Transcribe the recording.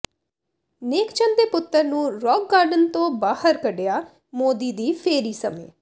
ਨੇਕ ਚੰਦ ਦੇ ਪੁੱਤਰ ਨੂੰ ਰਾਕ ਗਾਰਡਨ ਤੋਂ ਬਾਹਰ ਕਢਿਆ ਮੋਦੀ ਦੀ ਫੇਰੀ ਸਮੇਂ